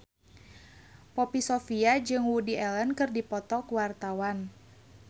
Poppy Sovia jeung Woody Allen keur dipoto ku wartawan